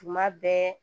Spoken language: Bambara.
Tuma bɛɛ